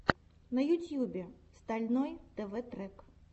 на ютюбе стальной тв трек